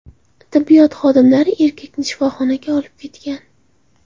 Tibbiyot xodimlari erkakni shifoxonaga olib ketgan.